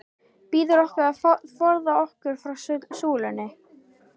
Biður okkur að forða okkur frá sullinu.